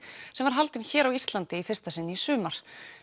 sem var haldin hér á Íslandi í fyrsta sinn í sumar